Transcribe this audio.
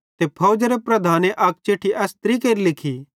ते फौजरे प्रधाने अक चिट्ठी एस तरिकेरी लिखी